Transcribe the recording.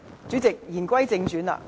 主席，言歸正傳。